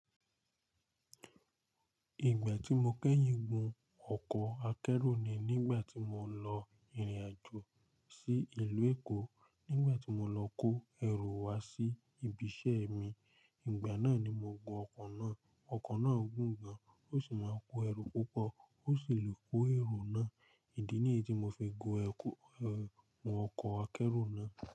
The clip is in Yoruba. Ìgbà tí mo kẹ́yìn gun ọkọ̀ akẹ́rù ni nígbà tí mò ń lọ ìrìnàjò sí ìlú Èkó, nígbà tí mò lọ kó ẹrù wa sí ibi iṣẹ́ mi. Ìgbà náà ni mo gun ọkọ̀ náà. Ọkọ̀ náà gùn gan, ó sì máa n kó ẹrù púpọ̀, ó sì lè kó ẹrù náà. Ìdí nìyí tí mo fi gun ọkọ̀ akẹ́rù náà.